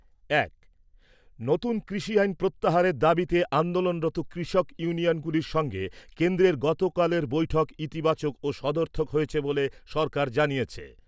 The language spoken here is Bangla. এক নতুন কৃষি আইন প্রত্যাহারের দাবিতে আন্দোলনরত কৃষক ইউনিয়নগুলির সঙ্গে কেন্দ্রের গতকালের বৈঠক ইতিবাচক ও সদর্থক হয়েছে বলে সরকার জানিয়েছে।